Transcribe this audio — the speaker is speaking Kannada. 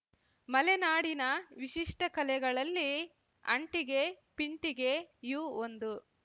ಮಲೆನಾಡಿನ ವಿಶಿಷ್ಟಕಲೆಗಳಲ್ಲಿ ಅಂಟಿಗೆ ಪಿಂಟಿಗೆಯೂ ಒಂದು